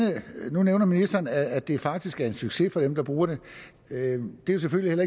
nu nævner ministeren at det faktisk er en succes for dem der bruger det det er selvfølgelig